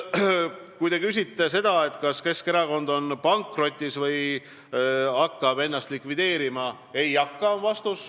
Kui te küsite seda, kas Keskerakond on pankrotis või hakkab ennast likvideerima, siis vastus on, et ei hakka.